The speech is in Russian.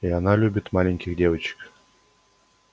и она любит маленьких девочек